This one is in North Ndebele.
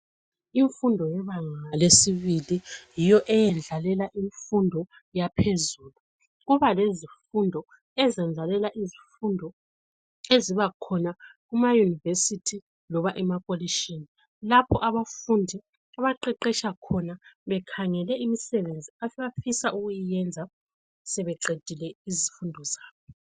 Imfundo yebanga lesibili yiyo eyendlalela imfundo yaphezulu. Kuba lezifundo ezendlalela izifundo ezibakhona kuma university loba emakolitshini lapho abafundi abaqeqetsha khona bekhangele imisebenzi abafisa ukuyenza sebeqedile izifundo zabo.